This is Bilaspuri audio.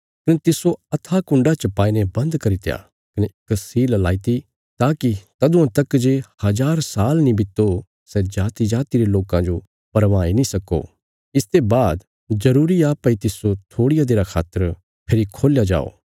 कने तिस्सो अथाह कुण्डा च पाईने बन्द करित्या कने इक सील लगाईती ताकि तदुआं तक जे हजार साल नीं बित्तो सै जातिजाति रे लोकां जो भरमाई नीं सक्को इसते बाद जरूरी आ भई तिस्सो थोड़िया देरा खातर फेरी खोल्या जाओ